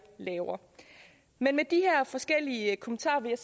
lavere med med de her forskellige kommentarer vil